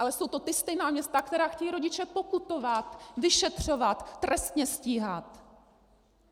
Ale jsou to ta stejná města, která chtějí rodiče pokutovat, vyšetřovat, trestně stíhat!